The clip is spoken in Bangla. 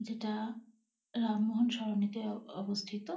যেটা রামমোহন সরণিতে অ অবস্থিত।